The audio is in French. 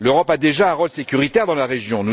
L'Europe a déjà un rôle sécuritaire dans la région.